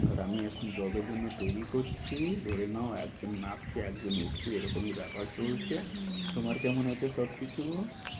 আর আমি এখন job এর জন্য তৈরি করছি ধরে নাও। একজন নাবছে একজন উঠছে এরকমই ব্যাপার চলছে। হম হম তোমার কেমন আছে সবকিছু?